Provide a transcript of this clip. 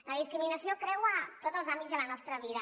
la discriminació creua tots els àmbits de la nostra vida